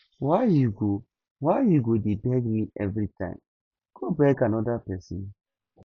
why you go why you go dey beg me everytime go beg another person